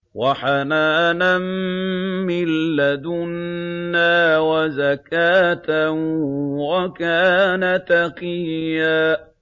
وَحَنَانًا مِّن لَّدُنَّا وَزَكَاةً ۖ وَكَانَ تَقِيًّا